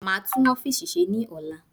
Maa tún ọfiisi ṣe ní ola